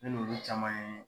An ni olu caman ye